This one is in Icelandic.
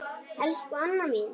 Elsku Anna mín.